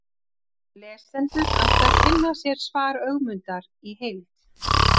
Lesendur ættu að kynna sér svar Ögmundar í heild.